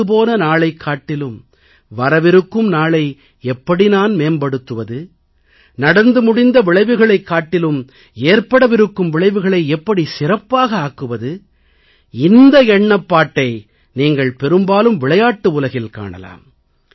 கடந்து போன நாளைக் காட்டிலும் வரவிருக்கும் நாளை எப்படி நான் மேம்படுத்துவது நடந்து முடிந்த விளைவுகளைக் காட்டிலும் ஏற்படவிருக்கும் விளைவுகளை எப்படி சிறப்பாக ஆக்குவது இந்த எண்ணப்பாட்டை நீங்கள் பெரும்பாலும் விளையாட்டு உலகில் காணலாம்